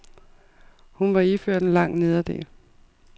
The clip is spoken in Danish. Hun var iført en lang nederdel.